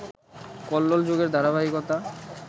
কল্লোল যুগের ধারাবাহিকতা